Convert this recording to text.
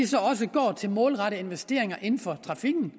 så også går til målrettede investeringer inden for trafikken